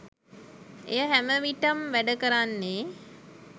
එය හැමවිටම් වැඩ කරන්නේ